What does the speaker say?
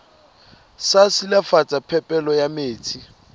sa silafatsa phepelo ya metsi